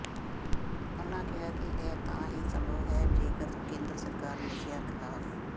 ਉਨ੍ਹਾਂ ਕਿਹਾ ਕਿ ਇਹ ਤਾਂ ਹੀ ਸੰਭਵ ਹੈ ਜੇਕਰ ਕੇਂਦਰ ਸਰਕਾਰ ਨਸ਼ਿਆਂ ਖ਼ਿਲਾਫ਼